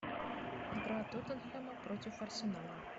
игра тоттенхэма против арсенала